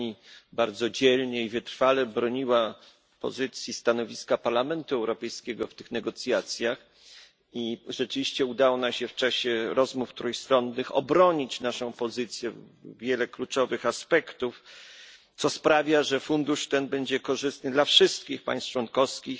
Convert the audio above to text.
Pani bardzo dzielnie i wytrwale broniła stanowiska Parlamentu Europejskiego w tych negocjacjach i rzeczywiście udało nam się w czasie rozmów trójstronnych obronić naszą pozycję, wiele jej kluczowych aspektów, co sprawia, że fundusz ten będzie korzystny dla wszystkich państw członkowskich